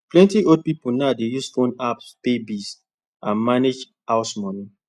plenty old people now dey use phone apps pay bills and manage house money